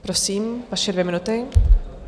Prosím, vaše dvě minuty.